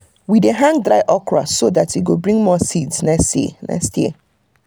we dey hang dry okra so that e go bring more seeds next year. next year.